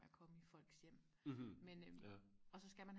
med og komme i folks hjem men øh og så skal man